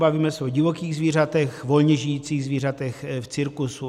Bavíme se o divokých zvířatech, volně žijících zvířatech, v cirkusu.